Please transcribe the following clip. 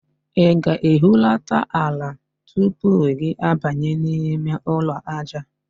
Ị ga-ehulata ala tupu gị abanye n'ime ụlọ aja.